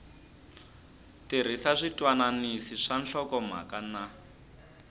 tirhisa switwananisi swa nhlokomhaka na